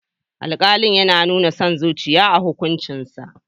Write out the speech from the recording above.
Alƙali yana nuna son zuciya a hukuncinsa.